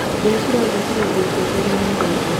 Mbĩa cirathũkirie nguo ciakwa iria nyendete.